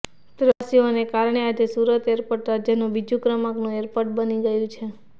પ્રવાસીઓને કારણે આજે સુરત એરપોર્ટ રાજ્યનું બીજા ક્રમાંકનું એરપોર્ટ બની ગયું છે